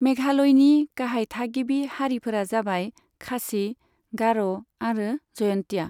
मेघालयनि गाहाय थागिबि हारिफोरा जाबाय खासी, गार' आरो जयन्तिया।